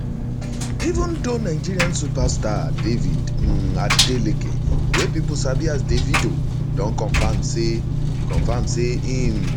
even though nigerian superstar david um adeleke wey pipo sabi as davido don confam say confam say im